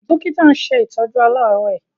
Dọ́kítà ń ṣe ìtọ́jú aláàárẹ̀.